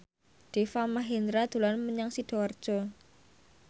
Deva Mahendra dolan menyang Sidoarjo